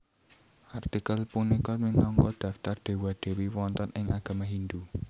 Artikel punika minangka daftar Dewa Dewi wonten ing agama Hindu